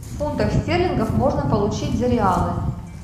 фунтов стерлингов можно получить за реалы